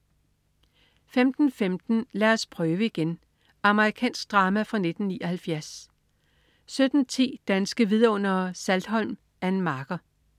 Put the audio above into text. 15.15 Lad os prøve igen. Amerikansk drama fra 1979 17.10 Danske Vidundere: Saltholm. Ann Marker